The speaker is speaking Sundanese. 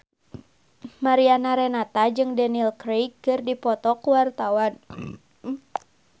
Mariana Renata jeung Daniel Craig keur dipoto ku wartawan